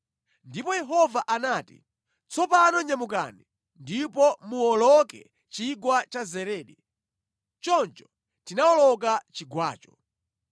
Ndipo Yehova anati, “Tsopano nyamukani ndipo muwoloke Chigwa cha Zeredi.” Choncho tinawoloka chigwacho.